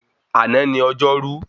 Àná ni ọjọ́rú